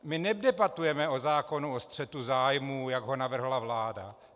My nedebatujeme o zákonu o střetu zájmů, jak ho navrhla vláda.